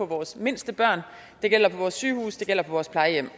vores mindste børn det gælder på vores sygehuse det gælder på vores plejehjem